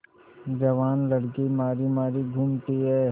जवान लड़की मारी मारी घूमती है